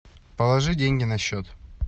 положи деньги на счет